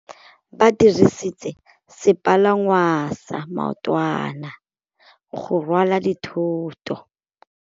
Ba dirisitse sepalangwasa maotwana go rwala dithôtô.